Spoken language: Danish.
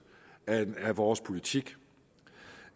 af vores politik